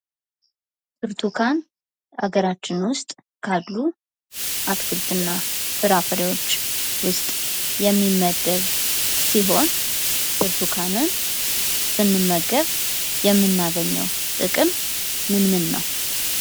ብርቱካን በሀገራችን ውስጥ ካሉ አትክልትና ፍራፍሬዎች ውስጥ የሚመደብ ሲሆን ብርቱካንን ስንመገብ የምናገኘው ጥቅም ምን ምን ነው?